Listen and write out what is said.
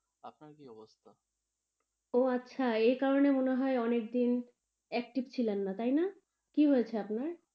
ও আচ্ছা এই কারণে মনে হয়ে অনেক দিন active ছিলেন না তাই না? কি হয়েছে আপনার.